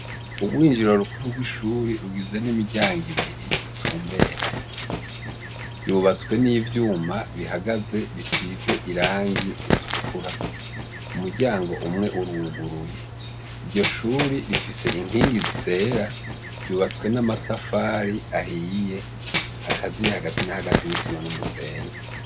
Urwinjiro rukuru rw’ishure rugizwe n’imiryango ibiri bitumberanye yubatswe n’ivyuma bihagaze bisize irangi ritukura umuryango umwe uruguruye, iryo shure rifise inkingi zegeranye ryubatswe n’amatafari ahiye akaziye hagati na hagati n’isima n’umusenyi.